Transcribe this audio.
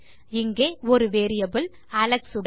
இங்கே ஒரு variable Alex உடன்